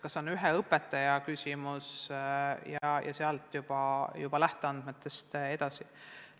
Kui me saame teada, et see on näiteks ühte õpetajat puudutav küsimus, siis läheme juba nendest lähteandmetest edasi.